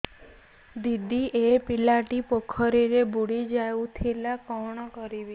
ଦିଦି ଏ ପିଲାଟି ପୋଖରୀରେ ବୁଡ଼ି ଯାଉଥିଲା କଣ କରିବି